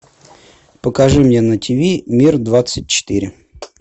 покажи мне на тв мир двадцать четыре